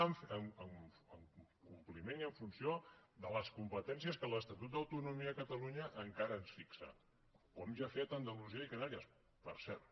en compliment i en funció de les competències que l’estatut d’autonomia de catalunya encara ens fixa com ja han fet andalusia i les canàries per cert